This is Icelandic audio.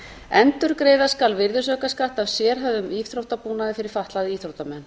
endurgreiða skal virðisaukaskatt af sérhæfðum íþróttabúnaði fyrir fatlaða íþróttamenn